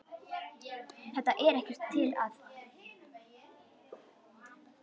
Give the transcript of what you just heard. Þetta er ekkert til að.